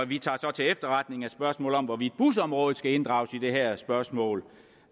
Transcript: vi tager til efterretning at spørgsmålet om hvorvidt busområdet skal inddrages i det her spørgsmål